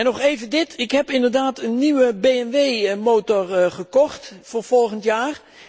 Nog even dit, ik heb inderdaad een nieuwe BMW motor gekocht voor volgend jaar.